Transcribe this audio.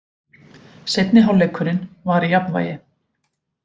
Seinni hálfleikurinn var í jafnvægi